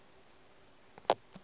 se ye ka ge ke